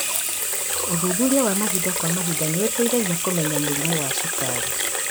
ũthuthuria wa mahinda kwa mahinda nĩũteithagia kũmenya mũrimu wa cukari